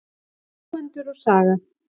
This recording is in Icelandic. Búendur og saga.